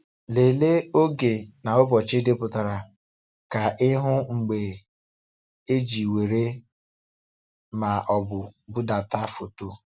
Lelee oge na ụbọchị edepụtara ka ị hụ mgbe e ji were ma ọ bụ budata foto.